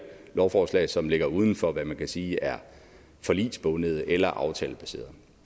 i lovforslag som ligger uden for hvad man kan sige er forligsbundet eller aftalebaseret